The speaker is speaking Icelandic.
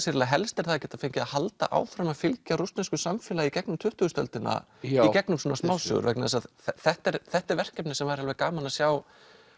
eiginlega helst er að geta fengið að halda áfram að fylgja rússnesku samfélagi í gegnum tuttugustu öldina í gegnum svona smásögur vegna þess að þetta er þetta er verkefni sem væri alveg gaman að sjá